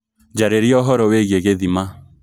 njararĩa ũhoro wĩigie gĩthima